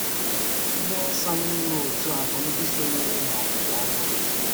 Ndị nsọ n’ime òtù ahụ bụ ndị sonyere n’“ọgbụgbọ ọhụrụ.”